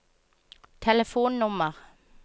telefonnummer